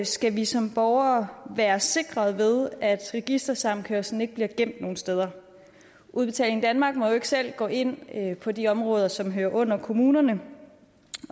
skal vi som borgere være sikret ved at registersammenkørslen ikke bliver gemt nogen steder udbetaling danmark må jo ikke selv gå ind på de områder som hører under kommunerne